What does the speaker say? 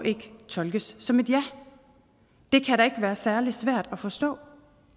tolkes som et ja det kan da ikke være særlig svært at forstå